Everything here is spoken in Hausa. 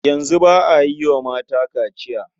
Yanzu ba a yi wa mata kaciya.